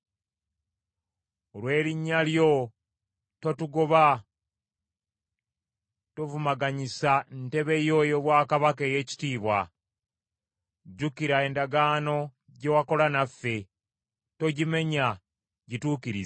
Olw’erinnya lyo totugoba, tovumaganyisa ntebe yo ey’obwakabaka ey’ekitiibwa. Jjukira endagaano gye wakola naffe, togimenya, gituukirize.